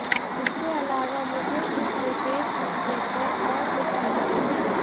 इसके अलावा मुझे इस विशेष मसले पर और कुछ नहीं कहना